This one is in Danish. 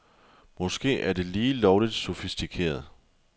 Måske er det lige lovligt sofistikeret.